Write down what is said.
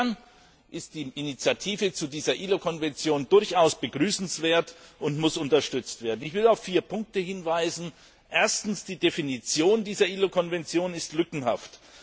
Insofern ist die Initiative zu dieser ILO Konvention durchaus begrüßenswert und muss unterstützt werden. Ich will auf vier Punkte hinweisen Erstens ist die Definition dieser ILO Konvention lückenhaft.